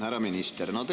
Härra minister!